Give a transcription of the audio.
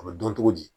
A bɛ dɔn cogo di